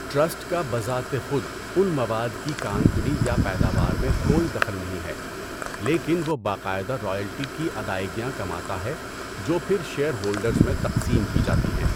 Trust کا بذات خود ان مواد کی کان کنی یا پیداوار میں کوئی دخل نہیں ہے، لیکن وہ باقاعدہ رائلٹی کی ادائیگیاں کماتا ہے جو پھر شیئر ہولڈرز میں تقسیم کی جاتی ہیں۔